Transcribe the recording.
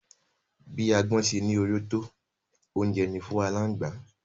Bí agbọ́n ṣe ní oró tó, oúnjẹ ni fún aláǹgbá